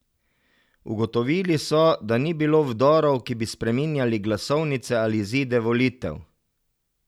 Ugotovili so, da ni bilo vdorov, ki bi spreminjali glasovnice ali izide volitev.